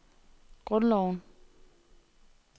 grundloven